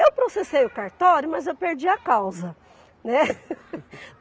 Eu processei o cartório, mas eu perdi a causa, né?